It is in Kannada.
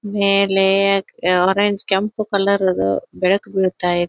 ಮೇಲೆ ಆರೆಂಜ್ ಕೆಂಪ ಕಲರ್ ರದು ಬೆಳಕ್ ಬೀಳತ್ತಾ --